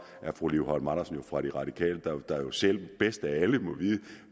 er fru liv holm andersen jo fra de radikale der selv bedst af alle må vide